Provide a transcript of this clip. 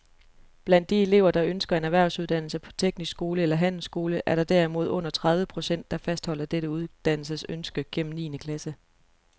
Blandt de elever, der ønsker en erhvervsuddannelse på teknisk skole eller handelsskole, er der derimod under tredive procent, der fastholder dette uddannelsesønske gennem niende klasse.